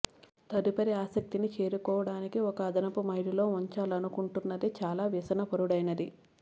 తదుపరి ఆసక్తిని చేరుకోవడానికి ఒక అదనపు మైలులో ఉంచాలనుకుంటున్నది చాలా వ్యసనపరుడైనది